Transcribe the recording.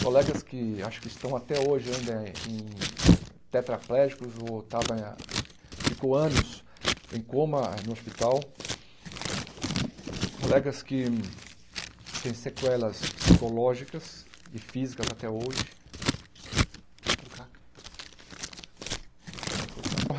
colegas que acho que estão até hoje ainda em tetraplégicos ou estavam ficam anos em coma no hospital, colegas que têm sequelas psicológicas e físicas até hoje. pode cortar